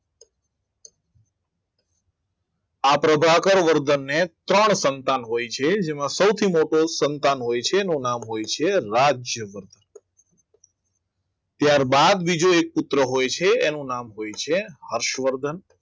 પ્રભાકર વર્ધન ત્રણ સંતાન હોય છે જેમાં સૌથી મોટો સંતાન હોય છે એનું નામ હોય છે રાજ્યવર્ધ ત્યારબાદ બીજો એક પુત્ર હોય છે એનું નામ હોય છે હર્ષવર્ધન આ પ્રભાકર વર્ધનને